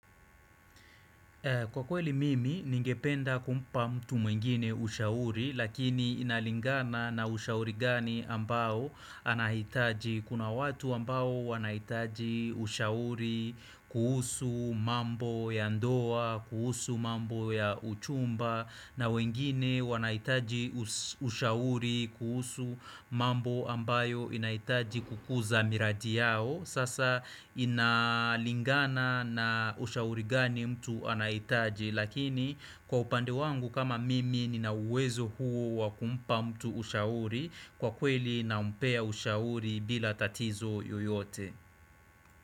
Kwa kweli mimi, ningependa kumpa mtu mwengine ushauri, lakini inalingana na ushauri gani ambao anahitaji. Kuna watu ambao wanahitaji ushauri kuhusu mambo ya ndoa, kuhusu mambo ya uchumba, na wengine wanahitaji ushauri kuhusu mambo ambayo inahitaji kukuza miradi yao. Sasa inalingana na ushauri gani mtu anaitaji Lakini kwa upande wangu kama mimi nina uwezo huo wa kumpa mtu ushauri Kwa kweli nampea ushauri bila tatizo yoyote.